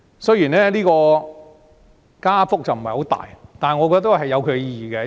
雖然加幅不大，但我認為有其意義。